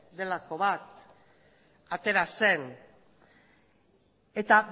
delako bat atera zen eta